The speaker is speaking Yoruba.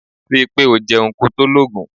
Ri i pe o jeun ko to logun.